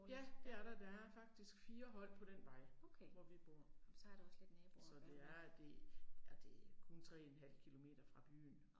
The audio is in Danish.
Ja, det er der, der er faktisk 4 hold på den vej hvor vi bor. Så det er det, ja det er kun 3 en halv kilometer fra byen